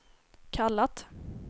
kallat